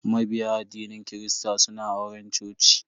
Mabiya addinin kirista suna auren coci.